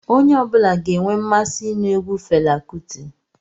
Onye ọbula ga-enwe mmasị inu egwu Fela Kuti